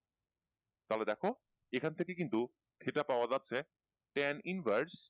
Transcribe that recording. তাহলে দেখো এখন থেকে কিন্তু theta পাওয়া যাচ্ছে ten invurs